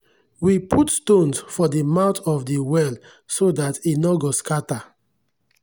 we put stones for the mouth of de well so dat e nor go scatter.